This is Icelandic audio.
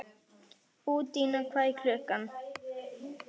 Undína, hvað er klukkan?